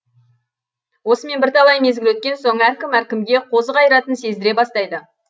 осымен бірталай мезгіл өткен соң әркім әркімге қозы қайратын сездіре бастайды